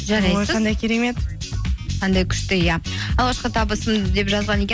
қандай керемет қандай күшті иә алғашқы табысым деп жазған екен